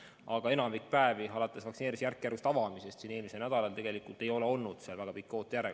Aga enamikul päevadel alates vaktsineerimise järkjärgulisest avamisest eelmisel nädalal tegelikult ei ole see ootejärjekord väga pikk olnud.